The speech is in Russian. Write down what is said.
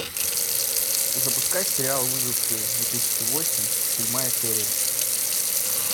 запускай сериал выжившие две тысячи восемь седьмая серия